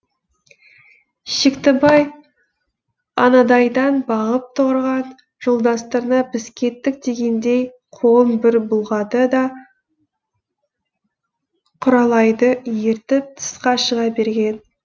шектібай анадайдан бағып тұрған жолдастарына біз кеттік дегендей қолын бір бұлғады да құралайды ертіп тысқа шыға берген